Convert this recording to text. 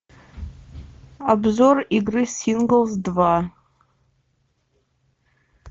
обзор игры синглс два